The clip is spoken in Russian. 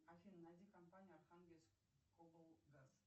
афина найди компанию архангельск облгаз